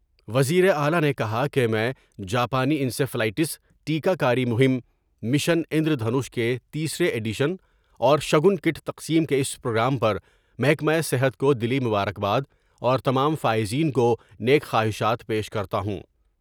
وزیراعلی نے کہا کہ میں جاپانی انسفیلیٹس ٹیکہ کاری مہم مشن اندرونش کے تیسرے ایڈیشن اور شگن کٹ تقسیم کے اس پروگرام پر محکمہ صحت کو دلی مبارکباد اور تمام فائزین کو نیک خواہشات پیش کرتا ہوں ۔